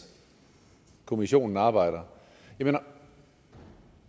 kommissionen arbejder jeg mener